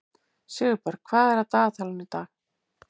Sigurberg, hvað er í dagatalinu í dag?